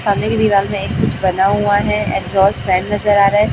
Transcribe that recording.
सामने की दीवार में एक कुछ बना हुआ है एग्ज़ॉस्ट फैन नजर आ रहा है।